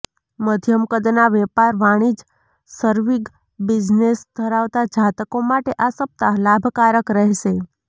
મધ્યમ કદના વ્યાપાર વણિજ સર્વિગ બિઝનેશ ધરાવતાં જાતકો માટે આ સપ્તાહ લાભકારક રહેશે